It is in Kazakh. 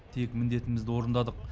тек міндетімізді орындадық